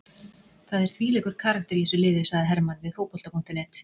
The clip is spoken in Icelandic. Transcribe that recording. Það er þvílíkur karakter í þessu liði, sagði Hermann við Fótbolta.net.